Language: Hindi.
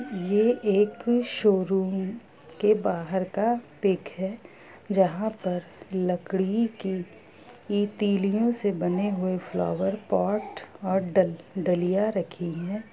ये एक शोरूम के बाहर का पिक है जहाँ पर लकड़ी की ती-तीलीओ से बने हुए फ्लावर पोट और ड-डलिया रखी है।